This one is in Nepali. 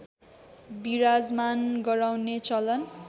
बिराजमान गराउने चलन